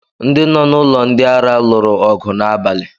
Ndị nọ n'ụlọ ndị ara lụrụ ọgụ n'abalị.